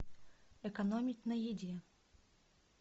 экономить на еде